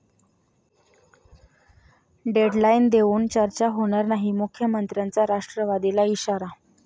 deadline देऊन चर्चा होणार नाही, मुख्यमंत्र्यांचा राष्ट्रवादीला इशारा